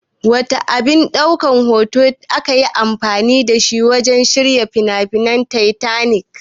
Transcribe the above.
Wana abin ɗaukan hoto akayi anfani dashi wajan shirin fim ɗin Titanic?